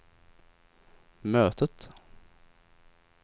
mötet